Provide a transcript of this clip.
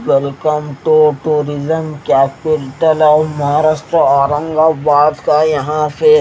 welcome to tourism capital of Maharashtra Aurangabad का यहां पे--